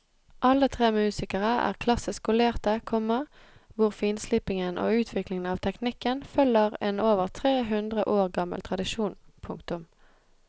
Alle tre musikerne er klassisk skolerte, komma hvor finslipingen og utviklingen av teknikken følger en over tre hundre år gammel tradisjon. punktum